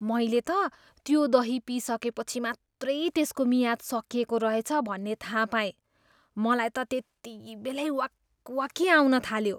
मैले त त्यो दही पिइसकेपछि मात्रै त्यसको मियाद सकिएको रहेछ भन्ने थाहा पाएँ। मलाई त त्यतिबेलै वाकवाकी आउनथाल्यो।